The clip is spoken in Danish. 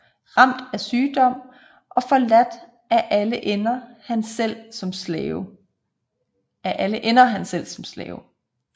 Ramt af sygdom og forladt af alle ender han selv som slave